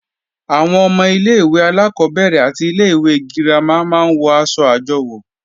Àwọn ọmọ ilé-ìwé alákọ́bẹ̀rẹ̀ àti ilé-ìwé girama máa ń wọ̀ aṣọ àjọwò